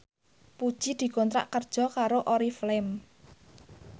Puji dikontrak kerja karo Oriflame